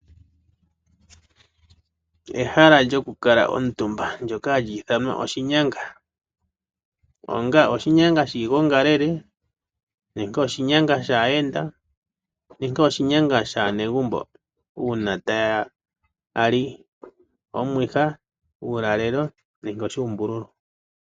Ehala lyokukala omutumba ndjoka hali ithanwa oshinyanga. Oshinyanga shiigongalele, shaayenda, nenge shaanegumbo uuna taya li omwiha, uulalelo, nenge oshuumbululwa.